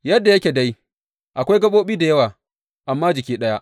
Yadda yake dai, akwai gaɓoɓi da yawa, amma jiki ɗaya.